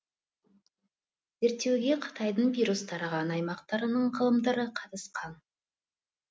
зерттеуге қытайдың вирус тараған аймақтарының ғалымдары қатысқан